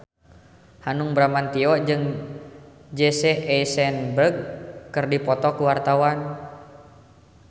Hanung Bramantyo jeung Jesse Eisenberg keur dipoto ku wartawan